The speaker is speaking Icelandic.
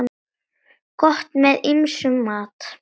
Gott með ýmsum mat.